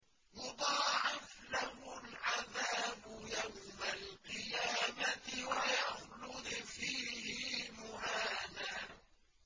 يُضَاعَفْ لَهُ الْعَذَابُ يَوْمَ الْقِيَامَةِ وَيَخْلُدْ فِيهِ مُهَانًا